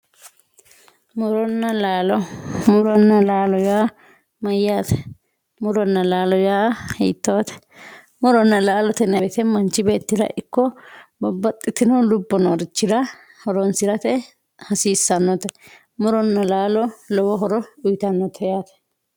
Muronna lalo Muronna lalo ya mayate Muronna lalo ya hitote Muronna lalote yinayi woyite manchi betira iko babaxitino lubo norichira horonsirate hasisanote Muronna lalo lowo horo uyitanote yate